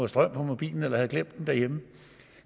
strøm på mobilen eller som har glemt den derhjemme